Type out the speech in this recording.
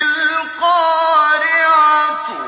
الْقَارِعَةُ